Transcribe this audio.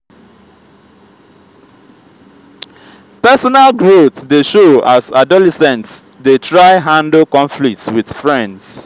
personal growth dey show as adolescents dey try handle conflicts with friends.